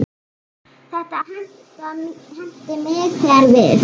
Þetta henti mig þegar við